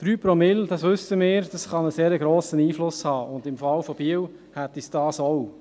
3 Promille, das wissen wir, können einen sehr grossen Einfluss haben, und im Fall von Biel hätten sie dies auch.